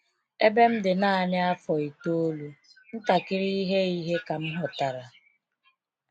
Ebe m dị naanị afọ itoolu, ntakiri ihe ihe ka mụ ghọtara.